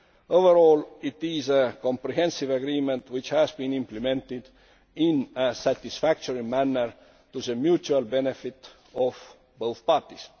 Overall, it is a comprehensive agreement which has been implemented in a satisfactory manner to the mutual benefit of both parties.